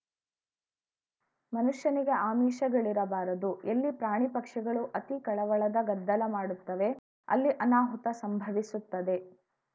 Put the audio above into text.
ಮನುಷ್ಯನಿಗೆ ಆಮಿಷಗಳಿರಬಾರದು ಎಲ್ಲಿ ಪ್ರಾಣಿಪಕ್ಷಿಗಳು ಅತೀ ಕಳವಳದ ಗದ್ದಲ ಮಾಡುತ್ತವೆ ಅಲ್ಲಿ ಅನಾಹುತ ಸಂಭವಿಸುತ್ತದೆ